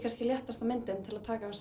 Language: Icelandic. léttasta myndin til að taka að